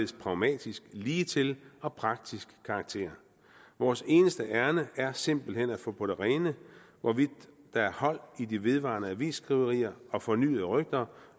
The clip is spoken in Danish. pragmatisk ligetil og praktisk karakter vores eneste ærinde er simpelt hen at få på det rene hvorvidt der er hold i de vedvarende avisskriverier og fornyede rygter